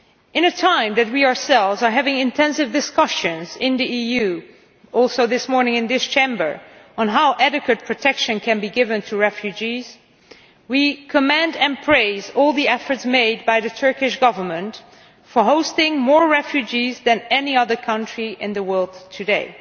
At a time when we ourselves are having intensive discussions in the EU and indeed this morning in this Chamber about how adequate protection can be given to refugees, we commend and praise all the efforts made by the Turkish Government in hosting more refugees than any other country in the world today.